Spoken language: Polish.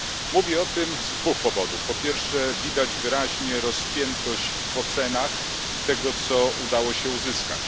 Mówię o tym z dwóch powodów po pierwsze, widać wyraźnie rozpiętość w ocenach tego, co udało się uzyskać.